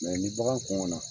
Mɛ ni bagan kɔngɔn na